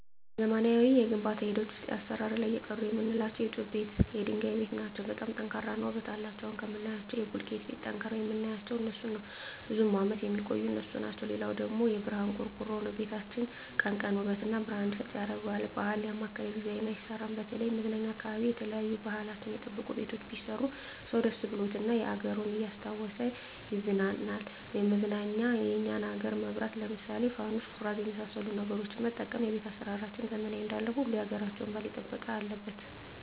በዘመናዊ የግንባታ ሂደት ውሰጥ አሰራር ላይ የቀሩ ምላቸው የጡብ ቤት የድንጋይ ቤት ናቸው በጣም ጠንካራ እና ውበት አለቸው አሁን ከምናያቸው ከቡልኪት ቤት ጠንቅረዉ ምናያቸው እነሡን ነው ብዙም አመት የሚቆዩ እነሡ ናቸው ሌላው ደግሞ የብረሀን ቆርቆሮ ነው ቤታችን ቀን ቀን ውበት እና ብረሀን እንዲሰጥ ያረገዋል ባህል ያማከለ ዲዛይን አይሰራም በተለይም መዝናኛ አካባቢ የተለያዩ ባህልችን የጠበቁ ቤቶች ቢሰሩ ሰው ደስ ብሎት እና አገሩን እያስታወሱ ይቀናናል መዝናኛ የኛን አገር መብራት ለምሳሌ ፋኑስ ኩራዝ የመሠሉ ነገሮች መጠቀም ቤት አሰራራችንን ዘመናዊ እንዳለው ሁሉ ያገራቸውን ባህል የጠበቀ አለበት